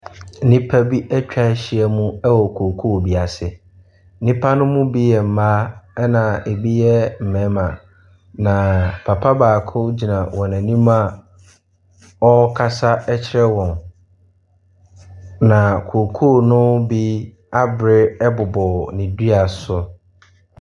Nnipa bi atwa ahyia mu wɔ kookoo bi ase, nnipa ne bi yɛ mmaa, na bi yɛ mmarima. Na papa baako gyina wɔn anim a ɔrekasa kyerɛ wɔn, na kookoo ne bi abere bobɔ ne dua so.